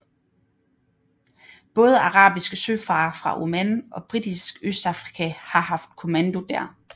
Både arabiske søfarere fra Oman og Britisk Østafrika har haft kommando der